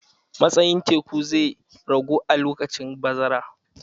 Matsayin teku zai ragu a lokacin bazara.